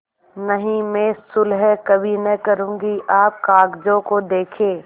नहीं मैं सुलह कभी न करुँगी आप कागजों को देखें